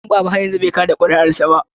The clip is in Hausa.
Danbaba har yanzu bai kada kuri'arsa ba.